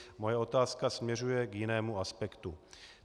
Moje otázka směřuje k jinému aspektu.